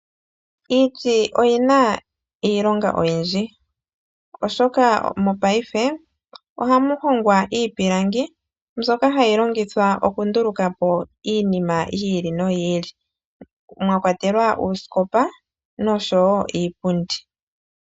Iiti oyina iilonga oyindji, oshoka mopaife ohamuhongwa iipilangi mbyoka hayi longwa moku ndulukapo iinima yi ili noyi ili, mwakwatelwa uusikopa noshowo iipundi.